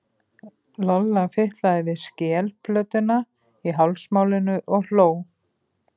Lolla fitlaði við skelplötuna í hálsmálinu og hló.